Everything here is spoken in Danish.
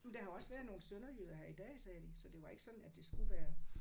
Men der har jo også været nogle sønderjyder her i dag sagde de. Så det var ikke sådan at det skulle være